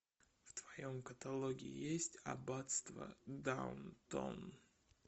в твоем каталоге есть аббатство даунтон